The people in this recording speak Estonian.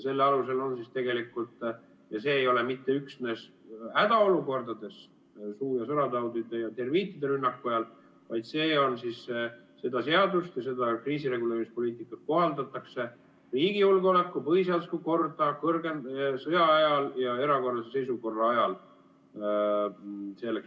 Selle alusel siis ja see ei ole mitte üksnes hädaolukordades, suu- ja sõrataudide ja termiitide rünnaku ajal, vaid seda seadust ja seda kriisireguleerimispoliitikat kohaldatakse riigi julgeolekut ja põhiseaduslikku korda valmistumisel, sõja ajal ja erakorralise seisukorra ajal.